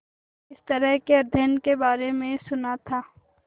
इस तरह के अध्ययन के बारे में सुना था